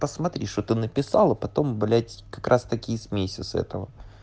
посмотри что ты написала потом блять как раз таки и смейся с этого